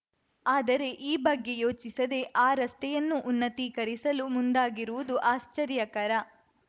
ಆದರೆ ಈ ಬಗ್ಗೆ ಯೋಚಿಸದೆ ಆ ರಸ್ತೆಯನ್ನೂ ಉನ್ನತೀಕರಿಸಲು ಮುಂದಾಗಿರುವುದು ಆಶ್ಚರ್ಯಕರ